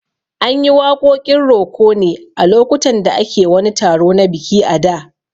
An yi waƙoƙin roko ne a lokutan da ake wani taro na biki a da